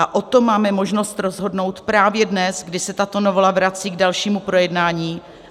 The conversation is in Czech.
A o tom máme možnost rozhodnout právě dnes, kdy se tato novela vrací k dalšímu projednání.